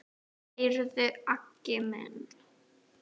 Heyrðu Aggi minn.